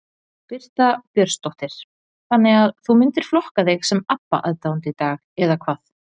Birta Björnsdóttir: Þannig að þú myndir flokka þig sem Abba aðdáanda í dag eða hvað?